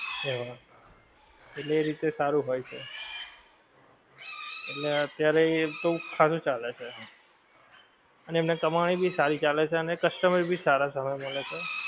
એમાં એટલે એ રીતે સારું હોએ છે એટલે અતિયારે તો હારું ચાલે છે આમ, અને એમની કમાણી ભી સારી ચાલે છે ને customer ભી સારા સમય મળે છે